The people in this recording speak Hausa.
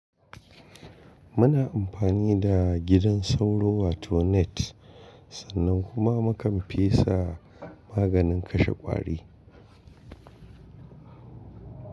Muna amfani da gidan sauro wato net sannan kuma mukan fesa maganin kashe ƙwari.